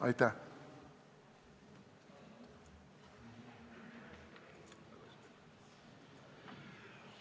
Aitäh!